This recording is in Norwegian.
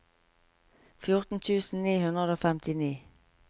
fjorten tusen ni hundre og femtini